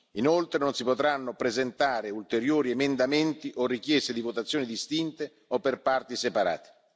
Inoltre, non si potranno presentare ulteriori emendamenti o richieste di votazioni distinte o per parti separate.